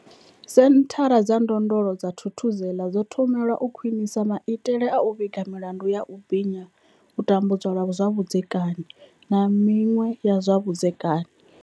Senthara dza ndondolo dza Thuthuzela dzo thomelwa u khwinisa maitele a u vhiga milandu ya u binya, tambudzwa lwa vhudzekani, na miṅwe ya zwa vhudzekani.